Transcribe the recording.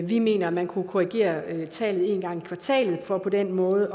vi mener at man kunne korrigere tallet en gang i kvartalet for på den måde